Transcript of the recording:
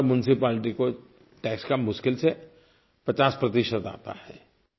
हर municipality को tax का मुश्किल से 50 आता है